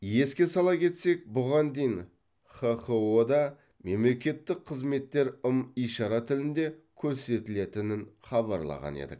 еске сала кетсек бұған дейін хқо да мемлекеттік қызметтер ым ишара тілінде көрсетілетінін хабарлаған едік